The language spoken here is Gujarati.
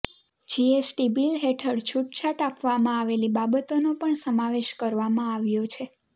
જીએસટી બિલ હેઠળ છૂટછાટ આપવામાં આવેલી બાબતોનો પણ સમાવેશ કરવામાં આવ્યો છે